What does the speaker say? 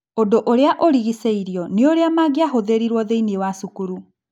Ũndũ ũrĩa ũrigicĩirio nĩ ũrĩa mangĩahũthĩrirũo thĩinĩ wa cukuru.